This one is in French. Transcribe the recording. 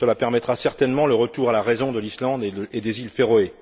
Cela permettra certainement le retour à la raison de l'Islande et des Îles Féroé.